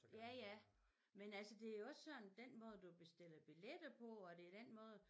Ja ja men altså det jo også den måde du bestiller billetter på og det er den måde